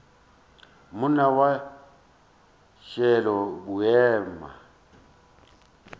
monna wa š le boima